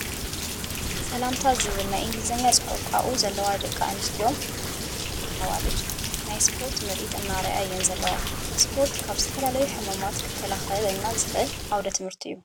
ሰላምታ ዝብል ናይ እግሊዘኛ ፅሑፍ ኣብኡ ዘለዋ ደቂ ኣንሰትዮ ነዊሕ ካልሲ ታይት ዝተከደና ኣዋል ናይ ስፖርት ምርኢት እንዳኣርያ እየን ዘለዋ። ስፖርት ካብ ዝተፈላለዩ ሕማማት ክከላኸላከል ዓውደ ትምህርቲ እዩ።